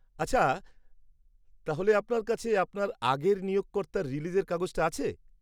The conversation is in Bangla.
-আচ্ছা, তাহলে আপনার কাছে আপনার আগের নিয়োগকর্তার রিলিজের কাগজটা আছে?